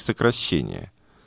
сокращение